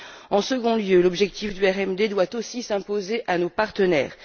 En second lieu, l'objectif du RMD doit aussi s'imposer à nos partenaires.